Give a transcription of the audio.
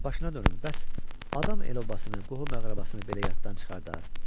Qağa, başına dönüm, bəs adam el-obasını, qohum-əqrəbasını belə yaddan çıxardar?